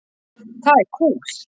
Það er kúl.